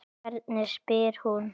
Hvernig spyr hún?